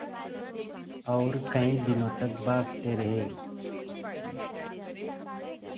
और कई दिनों तक भागते रहे